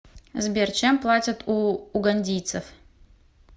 сбер чем платят у угандийцев